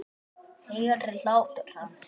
Heyri hlátur hans.